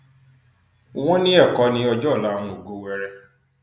wọn ní ẹkọ ní ọjọ ọla àwọn ògo wẹẹrẹ